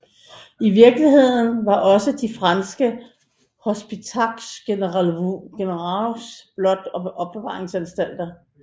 I virkeligheden var også de franske hôpitaux generaux blot opbevaringsanstalter